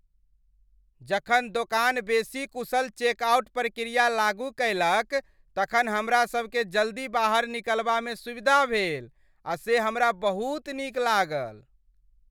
जखन दोकान बेसी कुशल चेकआउट प्रक्रिया लागू कयलक तखन हमरासभकेँ जल्दी बाहर निकलबामे सुविधा भेल, आ से हमरा बहुत नीक लागल।